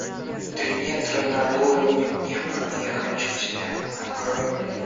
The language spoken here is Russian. три метра над уровнем неба я хочу тебя открой мне